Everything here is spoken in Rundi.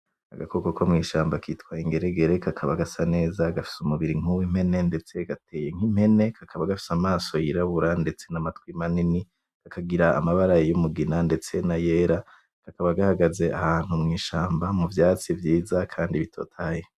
Agakoko ko mw'ishamba kitwa Ingeregere kakaba gasa neza gafise umubiri nkuw'impene ndetse gateye nk'impene kakaba gafise amaso yirabura ndetse namatwi manini kagira amabara y'umugina ndetse nayera kakaba ghagaze ahantu mw'ishamba mu vyatsi vyiza kandi bitotahaye.